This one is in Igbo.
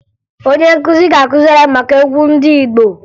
Onye nkụzi ga-akụziri anyị maka egwu ndị Igbo